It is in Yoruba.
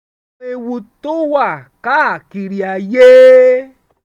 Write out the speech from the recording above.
àwọn ewu tó wà káàkiri ayé